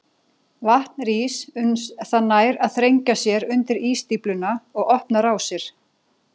Vatn rís uns það nær að þrengja sér undir ísstífluna og opna rásir.